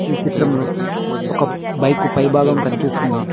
ఈ చిత్రంలో ఒక బైకు పైభాగం కనిపిస్తుంది.